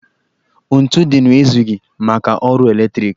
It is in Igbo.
Ntu dịnụ ezughị maka ọrụ eletriki